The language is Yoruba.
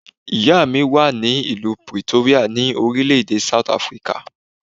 Ìyá mi wà ní ìlú Pretoria, ní orílẹ̀ èdè South Africa.